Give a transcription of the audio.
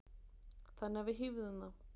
Þannig að við hífðum þá.